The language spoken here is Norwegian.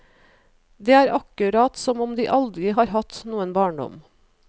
Det er akkurat som om de aldri har hatt noen barndom.